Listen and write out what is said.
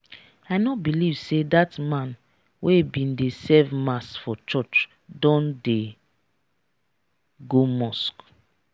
i no believe say dat man wey bin dey serve mass for church don dey go mosque